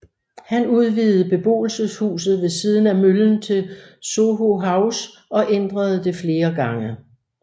Han udvidede beboelseshuset ved siden af møllen til Soho House og ændrede det flere gange